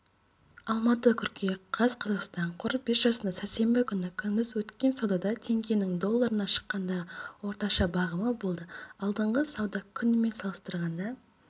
алматы қыркүйек қаз қазақстан қор биржасында сәрсенбі күні күндіз өткен саудада теңгенің долларына шаққандағы орташа бағамы болды алдыңғы сауда күнімен салыстырғанда